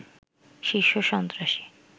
শীর্ষ সন্ত্রাসী